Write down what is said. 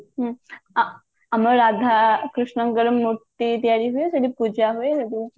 ହୁଁ ଆମର ରାଧା କୃଷ୍ଣଙ୍କର ମୂର୍ତି ତିଆରି ହୁଏ ସେଠି ପୂଜା ହୁଏ ସୋଉଠୁ